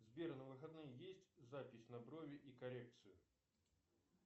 сбер на выходные есть запись на брови и коррекцию